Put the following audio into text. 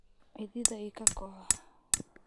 Cidhidha ikakox.